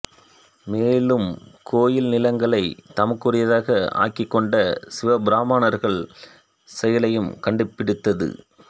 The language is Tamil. மேலும் கோயில் நிலங்களைச் தமக்குரியதாக ஆக்கிகொண்ட சிவப் பிராமணர்கள் செயலையும் கண்டுபிடித்து